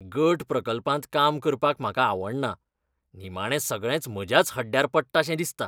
गट प्रकल्पांत काम करपाक म्हाका आवडना, निमाणें सगळेंच म्हज्याच हड्ड्यार पडटाशें दिसता.